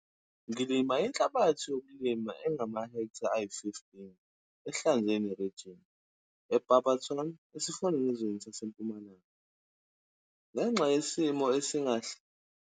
Ngilima inhlabathi yokulima engamahektha ayi-15 Ehlanzeni region, eBarberton, esifundazweni saseMpumalanga. Ngenxa yesimo.